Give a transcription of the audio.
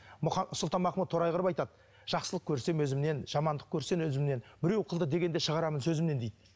сұлтанмахмұт торайғұров айтады жақсылық көрсем өзімнен жамандық көрсем өзімнен біреу қылды дегенді шығарамын сөзімнен дейді